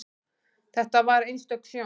Þetta var einstök sjón.